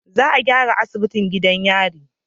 Za a gyara asibitin gidan yari